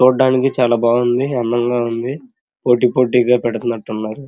చూడ్డానికి చాల బావుంది అందంగా ఉంది పోటీ పోటీగా పెడ్తున్నట్టున్నారు.